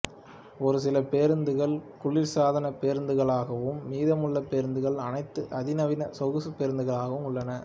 ஒருசில பேருந்துகள் குளிர்சாதன பேருந்துகளாகவும் மீதமுள்ள பேருந்துகள் அனைத்தும் அதிநவீன சொகுசுப் பேருந்துகளாக உள்ளன